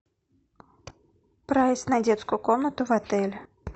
прайс на детскую комнату в отеле